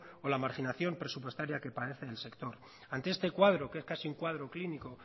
o la marginación presupuestaria que padece el sector ante este cuadro que es casi un cuadro clínico